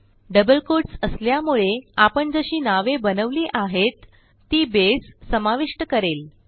double quotes असल्यामुळे आपण जशी नावे बनवली आहेत ती बसे समाविष्ट करेल